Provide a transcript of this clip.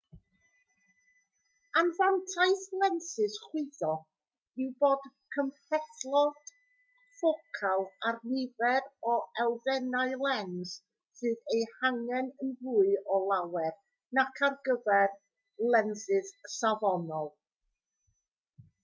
anfantais lensys chwyddo yw bod cymhlethdod ffocal a'r nifer o elfennau lens sydd eu hangen yn fwy o lawer nac ar gyfer lensys safonol